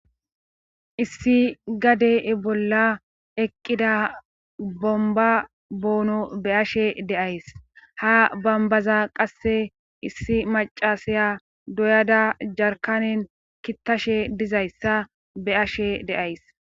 Issi gadee bolla eqqida bomba boono be ashe deays ha bambaza qasse issi macasaya doyada jarkanin kittashe dizayssa be ashe deays